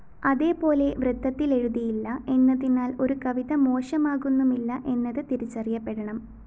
അതേപോലെ വൃത്തത്തിലെഴുതിയില്ല എന്നതിനാല്‍ ഒരു കവിത മോശമാകുന്നുമില്ല എന്നത് തിരിച്ചറിയപ്പെടണം